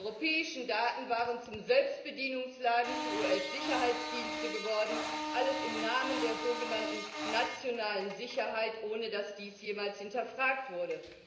Die europäischen Daten waren zum Selbstbedienungsladen für US Sicherheitsdienste geworden alles im Namen der sogenannten nationalen Sicherheit, ohne dass dies jemals hinterfragt wurde.